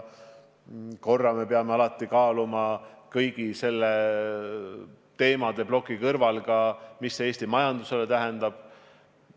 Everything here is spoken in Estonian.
Ja peame kaaluma kõigi nende teemade plokis, mida see Eesti majandusele tähendab.